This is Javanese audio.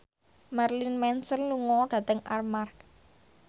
Marilyn Manson lunga dhateng Armargh